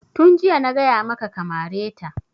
Tun jiya na gaya maka ka mare ta!